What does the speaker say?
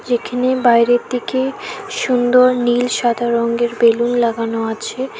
এখানে বাইরের দিকে সুন্দর নীল সাদা রঙ্গের বেলুন লাগানো আছে।